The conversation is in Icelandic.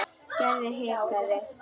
Gerður hikaði.